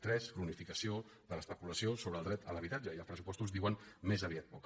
tres cronificació de l’especulació sobre el dret a l’ha·bitatge i els pressupostos diuen més aviat poc